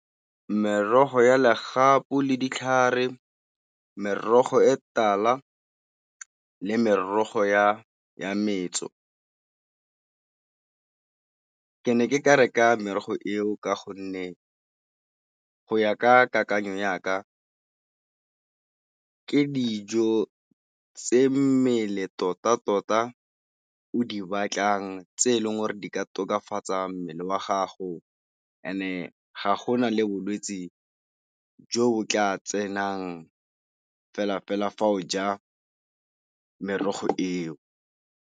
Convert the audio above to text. Merogo ya legapu le ditlhare, merogo e tala le merogo ya metso. Ke ne ke ka reka merogo eo ka gonne go ya ka kakanyo ya ka ke dijo tse mmele tota-tota o di batlang tse eleng gore di ka tokafatsa mmele wa gago e ne ga go na le bolwetse jo bo tla tsenang fela-fela fa o ja merogo eo.